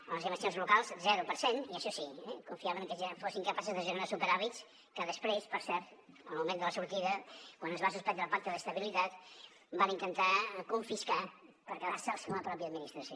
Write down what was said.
en les inversions locals zero per cent i això sí confiaven que fossin capaces de generar superàvits que després per cert en el moment de la sortida quan es va suspendre el pacte d’estabilitat van intentar confiscar per quedar se en la mateixa administració